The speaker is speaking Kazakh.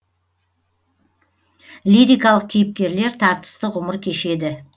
лирикалық кейіпкерлер тартысты ғұмыр кешеді